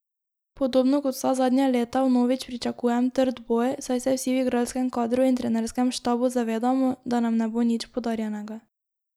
Podobno kot vsa zadnja leta vnovič pričakujem trd boj, saj se vsi v igralskem kadru in trenerskem štabu zavedamo, da nam ne bo nič podarjenega.